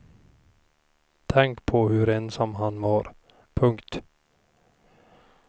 Tänk på hur ensam han var. punkt